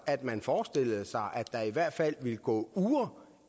at man forestillede sig at der i hvert fald ville gå uger